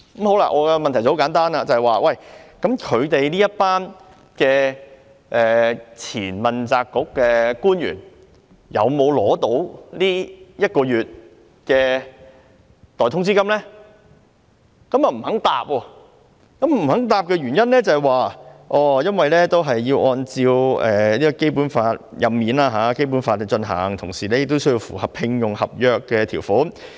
我的問題很簡單，就是這些前問責官員有沒有獲得一個月代通知金，但政府不肯回答，而政府給予的原因是，"所有主要官員的任免均須按照《基本法》進行，同時亦須符合聘用合約的條款。